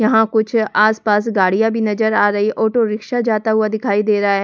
यहां कुछ आसपास गाड़ियां भी नजर आ रही है ऑटो रिक्शा जाता हुआ दिखाई दे रहा है।